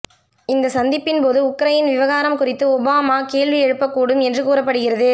இந்த சந்திப்பின் போது உக்ரையின் விவகாரம் குறித்து ஒபாமா கேள்வி எழுப்பக்கூடும் என்று கூறப்படுகிறது